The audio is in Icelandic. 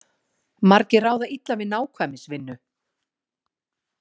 Margir ráða illa við nákvæmnisvinnu.